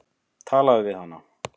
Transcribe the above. Talaðu við hana.